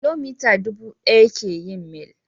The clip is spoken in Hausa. Kilomita dubu ɗaya ke yin mil.